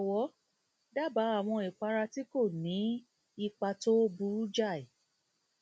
jọwọ dábàá àwọn ìpara tí kò ní kò ní ní ipa tó burú jáì